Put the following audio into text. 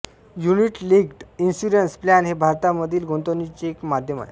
unit linked insurance plan हे भारतामधील गुंतवणूकीचे एक माध्यम आहे